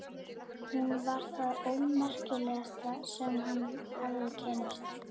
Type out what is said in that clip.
Hún var það ómerkilegasta sem hann hafði kynnst.